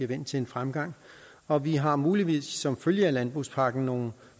vendt til en fremgang og vi har muligvis som følge af landbrugspakken nogle